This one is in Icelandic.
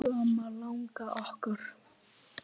Elsku amma langa okkar.